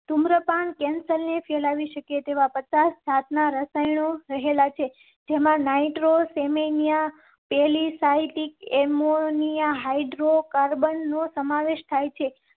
ધુમ્રપાન cancer ને ફેલાવી શકે તેવા પડતા સાતના રસાયણો રહેલાં છે જેમાં નાઈટ્રો સે ની પહેલી સાહિત્ય એમોનિયા હાઇડ્રો કાર્બન નો સમાવેશ થાય છે.